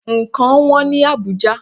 Ǹkan wọ́n ní Àbújá.